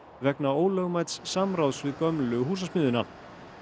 vegna ólögmæts samráðs við gömlu Húsasmiðjuna